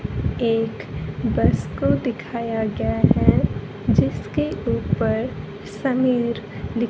एक बस को दिखाया गया है जिसके ऊपर समीर लि--